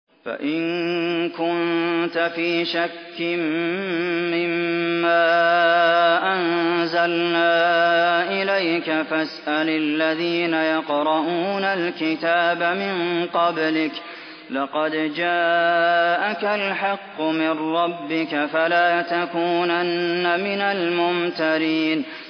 فَإِن كُنتَ فِي شَكٍّ مِّمَّا أَنزَلْنَا إِلَيْكَ فَاسْأَلِ الَّذِينَ يَقْرَءُونَ الْكِتَابَ مِن قَبْلِكَ ۚ لَقَدْ جَاءَكَ الْحَقُّ مِن رَّبِّكَ فَلَا تَكُونَنَّ مِنَ الْمُمْتَرِينَ